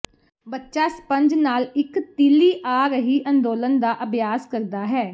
ਬੱਚਾ ਸਪੰਜ ਨਾਲ ਇੱਕ ਤਿੱਲੀ ਆ ਰਹੀ ਅੰਦੋਲਨ ਦਾ ਅਭਿਆਸ ਕਰਦਾ ਹੈ